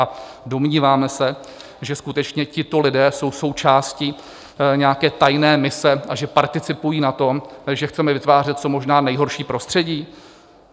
A domníváme se, že skutečně tito lidé jsou součástí nějaké tajné mise a že participují na tom, že chceme vytvářet co možná nejhorší prostředí?